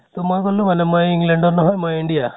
তʼ মই কʼলো বুলে মই england ৰ নহয় মই india ।